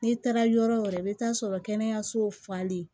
N'i taara yɔrɔ o yɔrɔ i bɛ taa sɔrɔ kɛnɛyasow falen